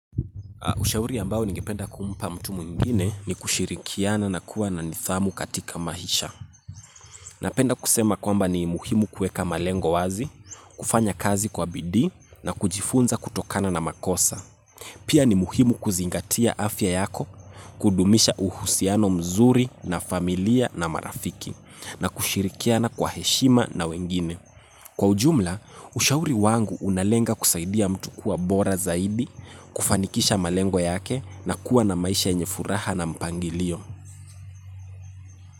Ushauri ambao ningependa kumpa mtu mwingine ni kushirikiana na kuwa na nidhamu katika maisha. Napenda kusema kwamba ni muhimu kuweka malengo wazi, kufanya kazi kwa bidii na kujifunza kutokana na makosa. Pia ni muhimu kuzingatia afya yako, kudumisha uhusiano mzuri na familia na marafiki, na kushirikiana kwa heshima na wengine. Kwa ujumla, ushauri wangu unalenga kusaidia mtu kuwa bora zaidi, kufanikisha malengo yake na kuwa na maisha yenye furaha na mpangilio.